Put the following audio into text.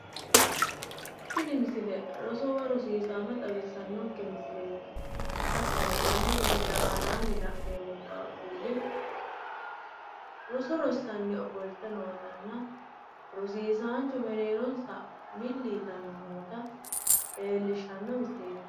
Tini misile roso woyi rosiisaano xawissanonke misileeti. Hattono tenne misile aanaanni la’neemmo qaaqquulli roso rossanni ofolte nootanna rosiisaancho mereeronsa milli yitanni noota leellishshanno misileeti.